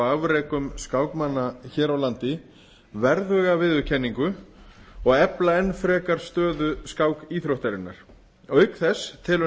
afrekum skákmanna hér á landi verðuga viðurkenningu og efla enn frekar stöðu skákíþróttarinnar auk þess telur